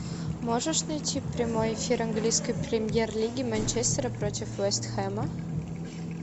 можешь найти прямой эфир английской премьер лиги манчестера против вест хэма